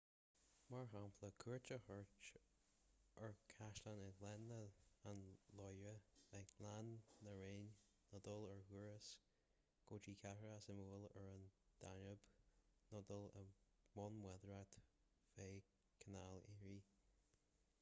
mar shampla cuairt a thabhairt ar chaisleáin i ngleann an loire i ngleann na réine nó dul ar chrús go dtí cathracha suimiúla ar an danóib nó dul i mbun bádóireachta feadh chanáil erie